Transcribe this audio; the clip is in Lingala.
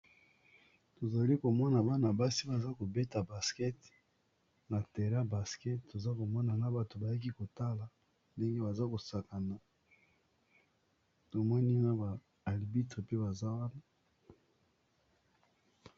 Tozali komona bana basi baza kobeta basket na terain ya basket toza komona na bato bayaki kotala ndenge baza ko sakana tomoni na ba arbitre pe baza wana.